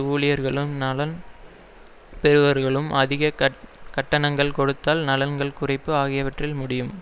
ஊழியர்களும் நலன் பெறுபவர்களுக்கும் அதிக கட்டணங்கள் கொடுத்தல் நலன்கள் குறைப்பு ஆகியவற்றில் முடியும்